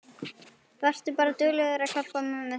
Vertu bara duglegur að hjálpa mömmu þinni.